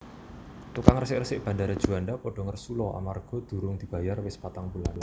Tukang resik resik Bandara Juanda podo ngersula amarga durung dibayar wis patang wulan